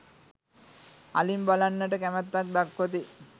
අලින් බලන්නට කැමැත්තක් දක්වති.